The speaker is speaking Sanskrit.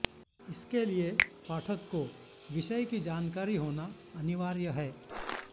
इसके लिए पाठक को विषय की जानकारी होना अनिवार्य है